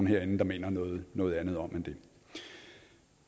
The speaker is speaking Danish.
herinde mener noget noget andet om